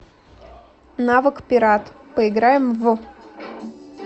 навык пират поиграем в